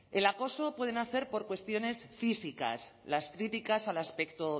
el acoso puede nacer por cuestiones físicas las críticas al aspecto